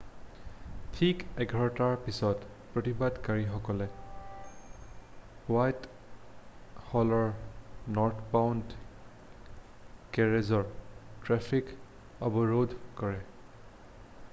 ঠিক 11:00ৰ পিছত প্ৰতিবাদকাৰীসকলে হোৱাইট হলৰ নৰ্থবাউণ্ড কেৰেজৰ ট্ৰেফিক অৱৰোধ কৰে।